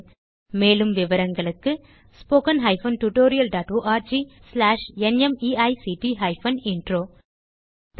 000839 000844 மேலும் விவரங்களுக்கு 1